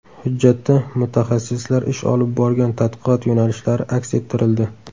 Hujjatda mutaxassislar ish olib borgan tadqiqot yo‘nalishlari aks ettirildi.